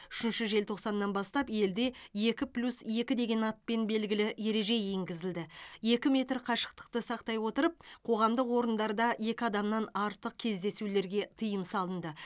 үшінші желтоқсаннан бастап елде екі плюс екі деген атпен белгілі ереже енгізілді екі метр қашықтықты сақтай отырып қоғамдық орындарда екі адамнан артық кездесулерге тиым салынды